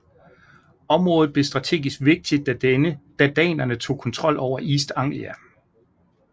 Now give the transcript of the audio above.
Området blev strategisk vigtigt da danerne tog kontrol over East Anglia